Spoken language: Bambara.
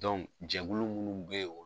jɛkulu munnu bɛ yen